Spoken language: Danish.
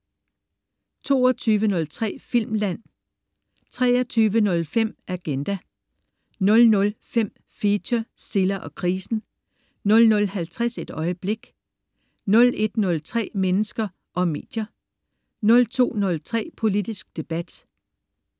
22.03 Filmland* 23.05 Agenda* 00.05 Feature: Silla og krisen* 00.50 Et øjeblik* 01.03 Mennesker og medier* 02.03 Politisk debat*